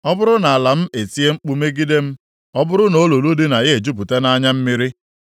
“Ọ bụrụ na ala m etie mkpu megide m, ọ bụrụ na olulu dị na ya ejupụta nʼanya mmiri,